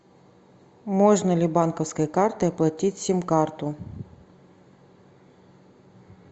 можно ли банковской картой оплатить сим карту